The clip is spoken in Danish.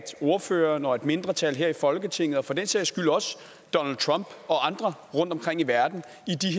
ordføreren og et mindretal her i folketinget og for den sags skyld også donald trump og andre rundtomkring i verden